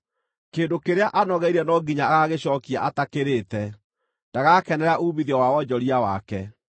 Kĩndũ kĩrĩa anogeire no nginya agagĩcookia atakĩrĩte; ndagakenera uumithio wa wonjoria wake.